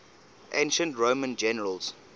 ancient roman generals